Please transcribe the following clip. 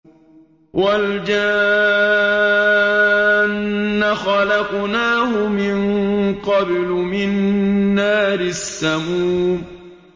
وَالْجَانَّ خَلَقْنَاهُ مِن قَبْلُ مِن نَّارِ السَّمُومِ